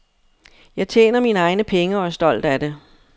Jeg tjener mine egne penge og er stolt af det.